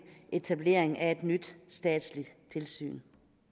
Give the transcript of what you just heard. etablering af et nyt statsligt tilsyn